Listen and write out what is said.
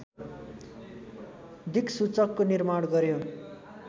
दिक्सूचकको निर्माण गर्‍यो